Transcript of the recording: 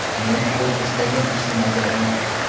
Men klub istagan ishni bajaraman.